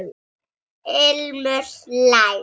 Ilmur hlær.